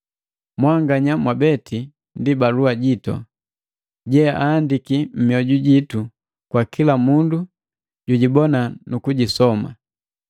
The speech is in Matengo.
Mwanganya mwabeti ndi balua jitu, jeaahandiki mmioju jitu kwa kila mundu jijibona nukujisoma.